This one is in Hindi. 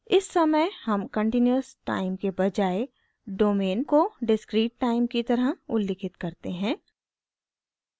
इस समय हम कंटीन्यूअस टाइम के बजाय डोमेन को डिस्क्रीट टाइम की तरह उल्लिखित करते हैं